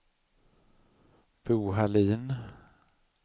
Bo Hallin